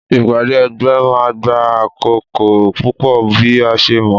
Ìpàdé ẹgbẹ́ ma gba àkókò púpò bi a ṣe mọ